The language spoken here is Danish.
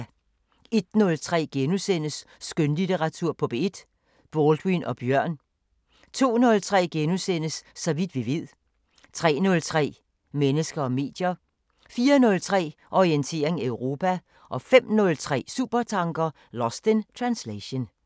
01:03: Skønlitteratur på P1: Baldwin og Bjørn * 02:03: Så vidt vi ved * 03:03: Mennesker og medier 04:03: Orientering Europa 05:03: Supertanker: Lost in translation